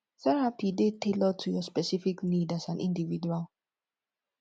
therapy dey tailored to your specific need as an individual